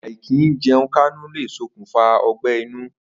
Àì̀kìíje̩un-káńú le sokùnfà ó̩gbé̩-inú